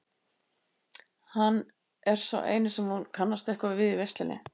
Hann er sá eini sem hún kannast eitthvað við í veislunni.